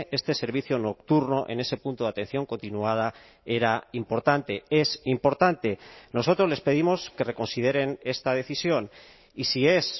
este servicio nocturno en ese punto de atención continuada era importante es importante nosotros les pedimos que reconsideren esta decisión y si es